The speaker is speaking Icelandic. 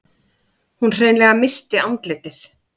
Hún hreinlega missti andlitið.